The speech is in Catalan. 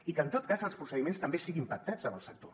i que en tot cas els procediments també siguin pactats amb el sector